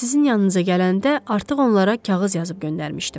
Sizin yanınıza gələndə artıq onlara kağız yazıb göndərmişdim.